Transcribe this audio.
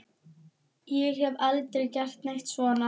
Ég hef aldrei gert neitt svona.